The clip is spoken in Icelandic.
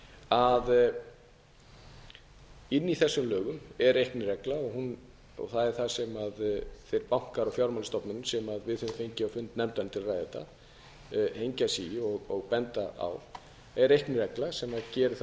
að inni í þessum lögum er reikniregla það er það sem þeir bankar og fjármálastofnanir sem við höfum fengið á fund nefndarinnar til að ræða þetta hengja sig í og benda á er reikniregla sem gerir það að